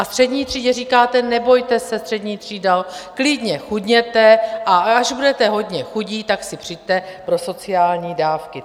A střední třídě říkáte: Nebojte se, střední třído, klidně chudněte, a až budete hodně chudí, tak si přijďte pro sociální dávky.